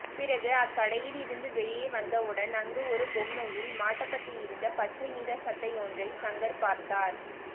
பிறகு அக்கடையிலிருந்து வெளியே வந்தவுடன் அங்கு ஒரு பொம்மையில் மாட்டப்பட்டிருந்த பச்சை நிற சட்டையொன்றை சங்கர் பார்த்தார்